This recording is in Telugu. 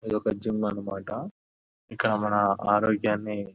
ఇదొక జిమ్ మాట ఇక్కడ మన ఆరోగ్యాన్ని--